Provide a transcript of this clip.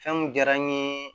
Fɛn mun diyara n ye